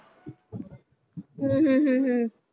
ਹਮ ਹਮ ਹਮ ਹਮ